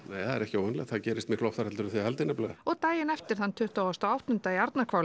ekki óvenjulegt það gerist oftar en þið haldið nefnilega og daginn eftir þann tuttugasta og áttunda í